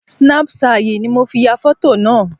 Snapṣayì ni mo fi ya fọ̀. tò naa